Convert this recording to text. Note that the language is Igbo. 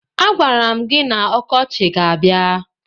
A gwara m gị na ọkọchị ga-abia